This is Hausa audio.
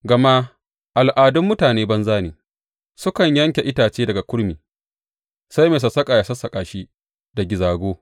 Gama al’adun mutane banza ne; sukan yanke itace daga kurmi, sai mai sassaƙa yă sassaƙa shi da gizago.